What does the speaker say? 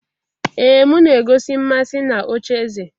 Ee m na-egosi mmasị na ocheeze